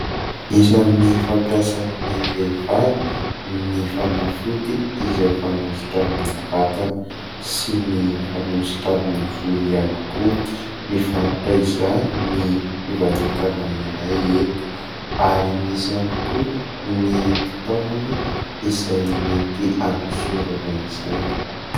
Isan'ny fampiasan'ny vehivavy ny fanafody izay fanosotra amin'ny vatana sy ny fanosotra amin'ny volo ihany koa. Mivarotra izany ny fivarotana iray eto ary misy ihany koa ny fitaovana izay mety hanosorana izany.